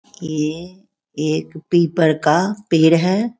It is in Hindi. ये एक पीपल का पेड़ है।